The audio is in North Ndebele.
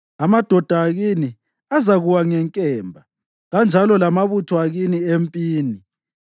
Amadoda akini azakuwa ngenkemba, kanjalo lamabutho akini empini.